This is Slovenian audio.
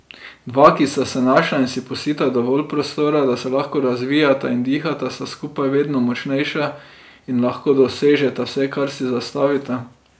Dva, ki sta se našla in si pustita dovolj prostora, da se lahko razvijata in dihata, sta skupaj vedno močnejša in lahko dosežeta vse, kar si zastavita.